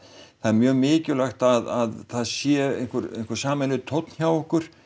það er mjög mikilvægt að það sé einhver einhver sameiginlegur tónn hjá okkur